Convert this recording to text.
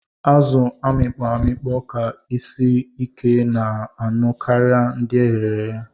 Azu amikpọ amikpọ ka isi ike na ọnụ karia ndi eghere.